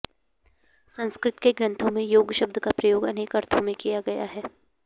संस्कृत के ग्रन्थों में योग शब्द का प्रयोग अनेक अर्थों में किया गया है